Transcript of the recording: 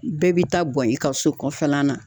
Bɛɛ bi taa bɔn i ka so kɔfɛla la.